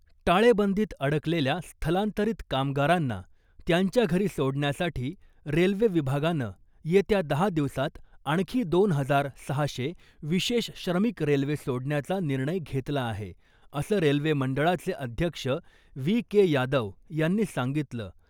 टाळेबंदीत अडकलेल्या स्थलांतरित कामगारांना त्यांच्या घरी सोडण्यासाठी रेल्वे विभागानं येत्या दहा दिवसात आणखी दोन हजार सहाशे विशेष श्रमिक रेल्वे सोडण्याचा निर्णय घेतला आहे , असं रेल्वे मंडळाचे अध्यक्ष वी के यादव यांनी सांगितलं .